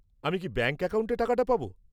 -আমি কি ব্যাঙ্ক অ্যাকাউন্টে টাকাটা পাবো?